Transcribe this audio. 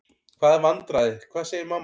Hvaða vandræði, hvað segir mamma?